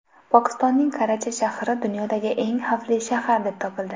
Pokistonning Karachi shahri dunyodagi eng xavfli shahar deb topildi.